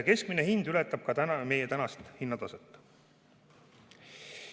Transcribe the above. Keskmine hind ületab ka meie tänast hinnataset.